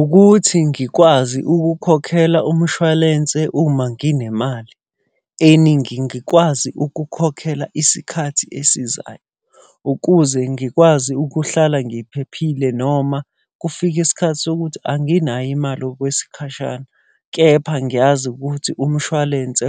Ukuthi ngikwazi ukukhokhela umshwalense uma nginemali eningi, ngikwazi ukukhokhela isikhathi esizayo. Ukuze ngikwazi ukuhlala ngiphephile noma kufika isikhathi sokuthi anginayo imali okwesikhashana. Kepha ngiyazi ukuthi umshwalense